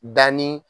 Danni